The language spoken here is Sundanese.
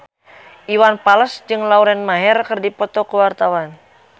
Iwan Fals jeung Lauren Maher keur dipoto ku wartawan